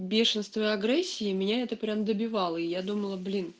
бешенство агрессии меня это прямо добивало и я думала блин